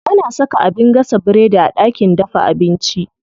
Ana saka abin gasa biredi a ɗakin dafa abinci.